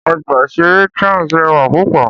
Ọgbà ìṣeré Trans rẹwà púpọ̀